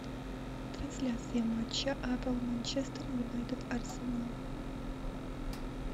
трансляция матча апл манчестер юнайтед арсенал